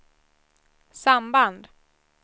samband